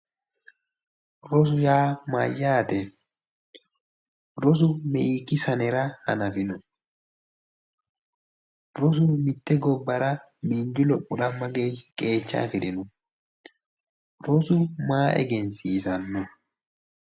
Rosu yaa mayyaate? rosu meekki sanira hanafino? rosu mitte gobbara miinju lophora mgaeeshshi qeecha afirino? rosu maa egensisanno.